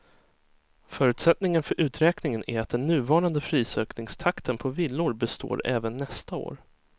Förutsättningen för uträkningen är att den nuvarande prisökningstakten på villor består även nästa år.